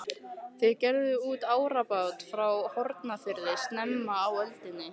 Þeir gerðu út árabát frá Hornafirði snemma á öldinni.